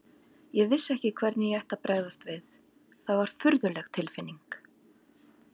Ég vissi ekki hvernig ég ætti að bregðast við, það var furðuleg tilfinning.